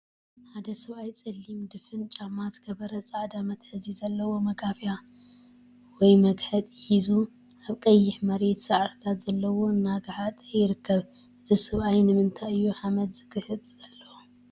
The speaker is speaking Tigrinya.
ሓደ ሰብአይ ፀሊም ድፉን ጫማ ዝገበረ ፃዐዳ መትሐዚ ዘለዎ መጋፍያ/መግሐጢ/ ሒዙ አብ ቀይሕ መሬት ሳዕሪታት ዘለዎ እናገሓጠ ይርከብ፡፡ እዚ ሰብአይ ንምንታይ እዩ ሓመድ ዝግሕጥ ዘሎ?